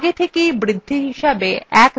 আগে থেকেই বৃদ্ধি হিসাবে 1 ধার্য করা আছে